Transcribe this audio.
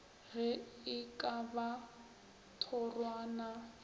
ge e ka ba thorwana